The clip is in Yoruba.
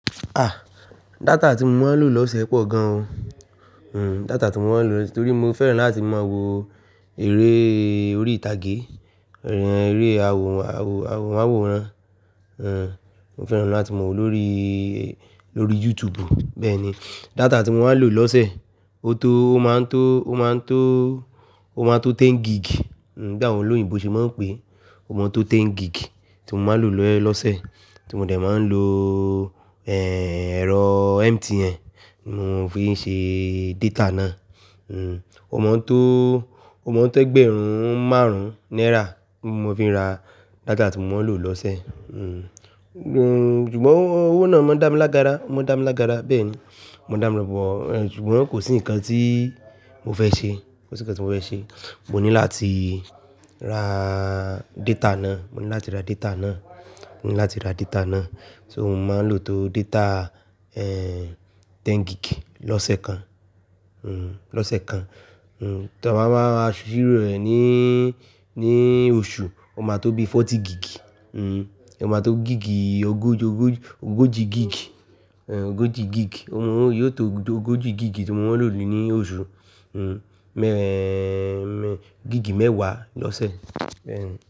Ah! Data tí mo máa ń lò lọ́sẹ̀ pọ̀ gan. Hmm, data tí mo máa ń lò, torí mo fẹ́ràn láti máa wo eré orí ìtàgé, eré aworan. Hmm, mo fẹ́ràn láti máa wò ó lórí, lórí YouTube. Bẹ́ẹ̀ni, data tí mo máa ń lò lọ́sẹ̀, o tó, ó máa ń tó, ó máa ń tó, ó máa ń tó ten gig. Hmm, bí àwọn olóyìnbo ṣe máa ń pè é. Ó máa ń tó ten gig tí mo máa ń lò lọ́sẹ̀, tí mo dẹ̀ máa ń lo, ẹ́, ẹ̀rọ MTN ni mo fi ń ṣe data náà. Hmm, ó máa ń tó, ó máa ń tó ẹgbẹ̀rún márùn náírà ni mo fi ń ra data tí mo máa ń lò lọ́sẹ̀. Hmm, ṣùgbọ́n owó náà máa ń dá mi lágbára, máa ń dá mi lágbára. Bẹ́ẹ̀ni, máa ń dá mi lágbára, ṣùgbọ́n kò sí nǹkan tí mo fẹ́ ṣe, kò sí nǹkan tí mo fẹ́ ṣe. Mo ní láti ra data náà, mo ní láti ra data náà, mo ní láti ra data náà. So, mo máa ń lò tó data, ẹ́, ten gig lọ́sẹ̀ kan. Hmm, lọ́sẹ̀ kan. Hmm, tí wọ́n bá máa ṣíro rẹ̀ ní, ní oṣù, ó máa tó bí forty gig. Hmm, ó máa tó gig ogójì, ogójì, ogójì gig. Ẹ̀, ogójì gig. Ni yóò tó ogójì gig tí mo máa ń lò ní oṣù. Hmm, mẹ́, ẹ́, mẹ́, gig mẹ́wàá lọ́sẹ̀. Bẹ́ẹ̀ni.